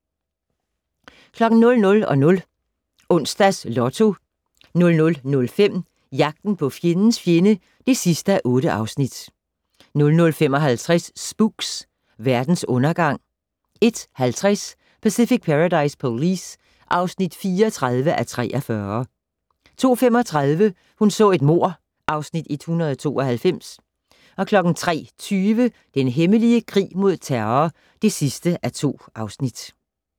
00:00: Onsdags Lotto 00:05: Jagten på fjendens fjende (8:8) 00:55: Spooks: Verdens undergang 01:50: Pacific Paradise Police (34:43) 02:35: Hun så et mord (Afs. 192) 03:20: Den hemmelige krig mod terror (2:2)